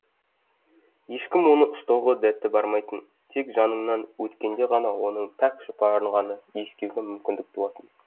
ешкім оны ұстауға дәті бармайтын тек жаныңнан өткенде ғана оның пәк жұпарын ғана иіскеуге мүмкіндік туатын